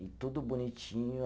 E tudo bonitinho.